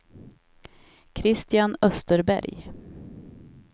Christian Österberg